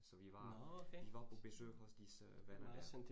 Så vi var, vi var på besøg hos disse venner her